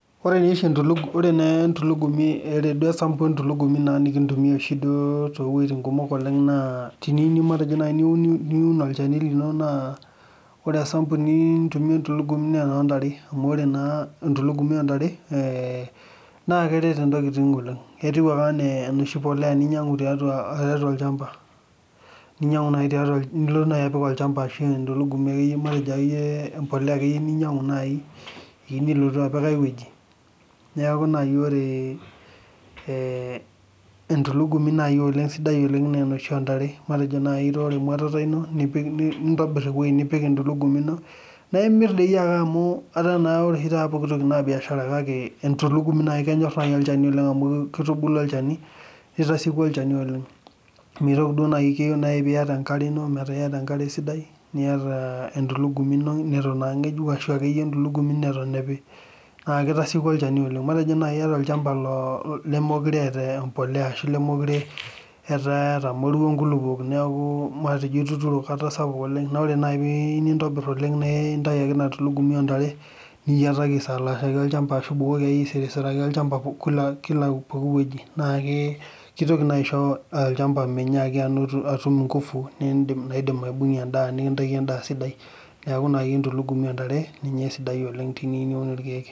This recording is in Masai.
oree nye oshii entulugumi oree naa entulugumi oree duo ee sample ee ntulugumi nikitumia oshii duo too weitin kumok oleng` naa teniyiu naji matejo teniu niun olchani lino naa esampu niyiu eee ntuulugumi naa enoo ntare amu oree naa entulugumi oo ntare naa keret intokiting oleng` etiu enaa enosli polea ninyangu tiatua olchampa ninyangu naayi tiatua olchampa nilotu nayii apik atua olchampa ashuu entulugumi ake iye matejo ake yie empolea ake iye ninyangu nayi piimilotu apik ayy weji neeku nayii ore entulugumi nayii oleng` sidai nyii sidai oleng` naa enoshii oo ntare matejo nayii itoorro emuatata ino nipik nintobirr eewei nipik entulugumi ino naimirr dii ake amu etaa naa oshii pooki toki naa [cs[biashara kake entulugumi kenyorr nayii olchani oleng` amuu keitubulu olchani keitasieku olchani oleng` meitoki nayii keyiu nayii piyaata enkare ino metaa iyata enkare sidaai niata entulugumi ino neitu naa ngejuk aashu akeyie entulugumi neton epii naa ketasieku olchani oleng` matejoo naii iyata olchampa lemekuree eata empolea ashuu lemekure etaa etamorua inkulukuok nekuu matejo ituturo kata sapik oleng` naa oree nayii piiyieu nintobirr oleng` naa itai ake ina tulugumi oo ntare niyiataki aisalaashaki olchampa aashu ibukoki ake iye aisirisiraki olchampa pooki weji naa keitoki naa aisho olchampa minyaaki atum ikufu naidim aibungie endaa neikintaki endaa sidai neeku nayii entulugumi oo ntare ninye esidai oleng` teniyu niun irkiek